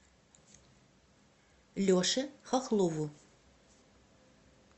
леше хохлову